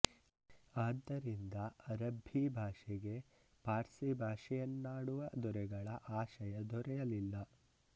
ಆದ್ದರಿಂದ ಅರಬ್ಬೀ ಭಾಷೆಗೆ ಪಾರ್ಸಿ ಭಾಷೆಯನ್ನಾಡುವ ದೊರೆಗಳ ಆಶಯ ದೊರೆಯಲಿಲ್ಲ